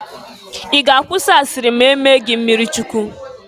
Ị ga-akwụsị asiri ma e mee gị mmirichukwu?